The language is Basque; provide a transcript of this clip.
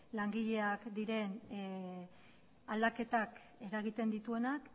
langileak diren aldaketak eragiten dituenak